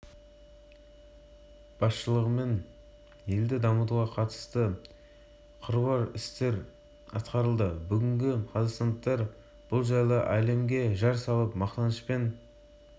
астана әкімдігі ішкі саясат басқармасының бастығы ерлан қаналимов веб-деректі форматты егемендікке жету жолындағы қазақстан мен жаңа